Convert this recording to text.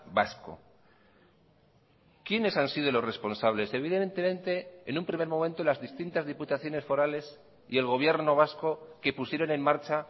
vasco quiénes han sido los responsables evidentemente en un primer momento las distintas diputaciones forales y el gobierno vasco que pusieron en marcha